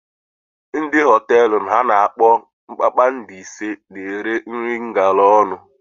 Ndị hotelu ana akpọ kpakpando ise na-ere nri ngalaónu.